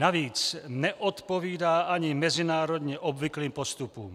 Navíc neodpovídá ani mezinárodně obvyklým postupům.